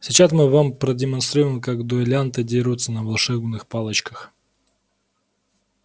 сейчас мы вам продемонстрируем как дуэлянты дерутся на волшебных палочках